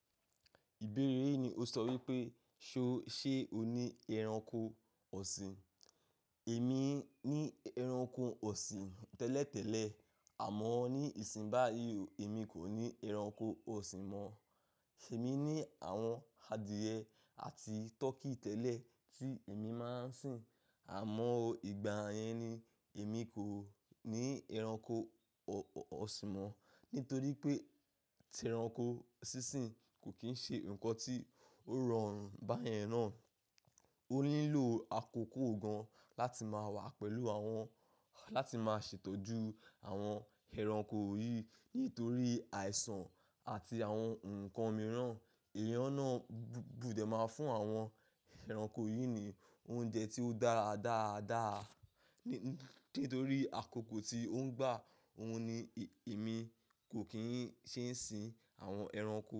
Ìbéèrè yi ní o sọ wípé, ṣé o ní ẹranko ọ̀sìn? Èmi ní ẹranko ọ̀sìn tẹ́lẹ̀ tẹ́lẹ̀, àmọ́ ní ìsìn báyìí, èmi kò ní ẹranko ọ̀sìn mọ́. Emi ní àwọn adìẹ àti turkey tẹ́lẹ̀ tí èmi máa ń sìn, àmọ́ ìgbà yẹn ni èmi kò ní ẹranko ọ̀sìn mọ́. Nítorí pé, ti ẹranko sísìn kò kín ṣe nǹkan tí ó rọrùn báyẹn ná. O nílò àkókò gan láti máa wà pẹ̀lú àwọn, láti máa ṣètọ́jú àwọn ẹranko yìí. Nítorí àìsàn àti àwọn nǹkan mìíràn, èèyàn náà gbọ́dọ̀ máa fún àwọn ẹranko yìí ní oúnjẹ tí ó dára dáadáa. Nítorí àkókò tí ó ń gbà, òun ni èmi kò kín ṣé ń sìn àwọn ẹranko.